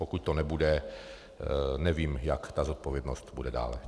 Pokud to nebude, nevím, jak ta zodpovědnost bude dál.